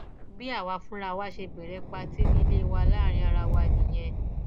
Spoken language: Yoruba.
bí àwa fúnra wa ṣe bẹrẹ pàtì nílé wa láàrin ara wa nìyẹn